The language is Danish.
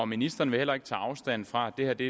ministeren vil heller ikke tage afstand fra at det